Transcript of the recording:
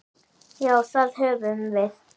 Já, það höfum við.